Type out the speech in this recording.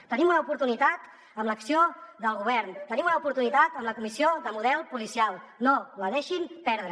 hi tenim una oportunitat amb l’acció del govern hi tenim una oportunitat amb la comissió sobre el model policial no la deixin perdre